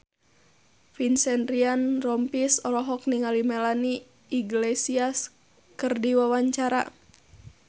Vincent Ryan Rompies olohok ningali Melanie Iglesias keur diwawancara